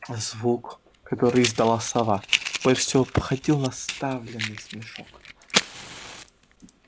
звук который издала сова больше всего походил на сдавленный смешок